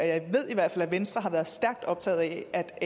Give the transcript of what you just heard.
jeg ved i hvert fald at venstre har været stærkt optaget af at